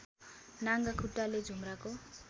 नाङ्गा खुट्टाले झुम्राको